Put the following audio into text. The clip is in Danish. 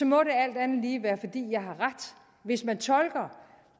må det alt andet lige være fordi jeg har ret hvis man tolker